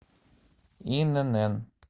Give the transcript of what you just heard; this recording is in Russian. инн